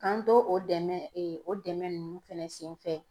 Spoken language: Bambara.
K'an to o dɛmɛ o dɛmɛ ninnu fɛnɛ senfɛ